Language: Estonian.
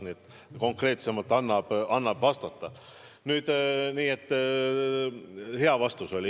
Nii et konkreetsemalt annab vastata, hea vastus oli.